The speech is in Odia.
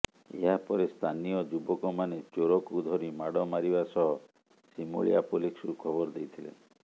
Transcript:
ଏହାପରେ ସ୍ଥାନୀୟ ଯୁବକମାନେ ଚୋରକୁ ଧରି ମାଡ ମାରିବା ସହ ସିମୁଳିଆ ପୁଲିସକୁ ଖବର ଦେଇଥିଲେ